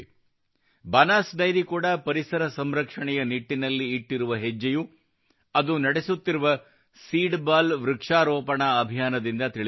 Banas dairy ಕೂಡಾ ಪರಿಸರ ಸಂರಕ್ಷಣೆಯ ನಿಟ್ಟಿನಲ್ಲಿ ಇಟ್ಟಿರುವ ಹೆಜ್ಜೆಯು ಅದು ನಡೆಸುತ್ತಿರುವ ಸೀಡ್ ಬಾಲ್ ವೃಕ್ಷಾರೋಪಣ ಅಭಿಯಾನದಿಂದ ತಿಳಿದು ಬರುತ್ತದೆ